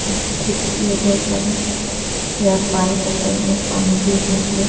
खिड़की है। बहुत सारा यह पाइप हैं। साइड मे पानी गिरने के लिए।